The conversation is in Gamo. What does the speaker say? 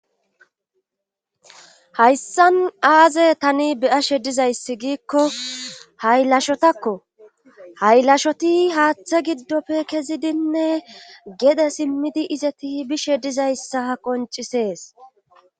Hayssan aaze tani beyashe dizayssi giikko haylashotakko haylashoti haaththe giddofe kezidinne gede simmidi izeti bishe dizayssa ha qoncisees.